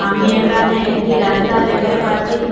আমি একানে একটি রাস্তা দেখতে পাচ্চি।